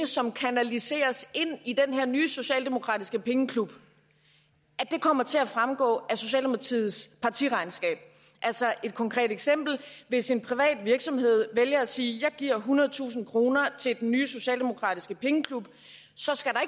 som kanaliseres ind i den her nye socialdemokratiske pengeklub kommer til at fremgå af socialdemokratiets partiregnskab et konkret eksempel hvis en privat virksomhed vælger at sige at den giver ethundredetusind kroner til den nye socialdemokratiske pengeklub så skal der